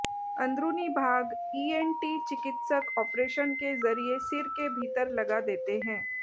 अंदरूनी भाग ईएनटी चिकित्सक ऑपरेशन के जरिये सिर के भीतर लगा देते हैं